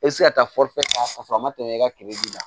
E bɛ se ka taa ta k'a sɔrɔ a ma tɛmɛ i ka kele kan